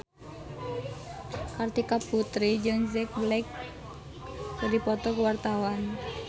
Kartika Putri jeung Jack Black keur dipoto ku wartawan